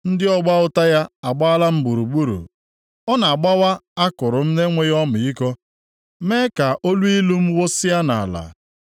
ndị ọgba ụta ya agbaala m gburugburu. Ọ na-agbawa akụrụ m na-enweghị ọmịiko mee ka oluilu m wụsịa nʼala.